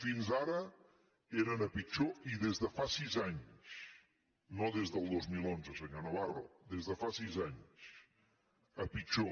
fins ara eren a pitjor i des de fa sis anys no des del dos mil onze senyor navarro des de fa sis anys a pitjor